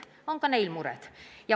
On ka neil mured.